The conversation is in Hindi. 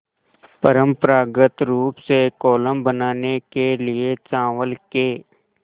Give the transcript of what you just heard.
परम्परागत रूप से कोलम बनाने के लिए चावल के